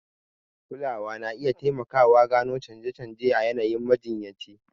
Kulawa na iya taimakawa gano canje-canje a yanayin majiyyaci.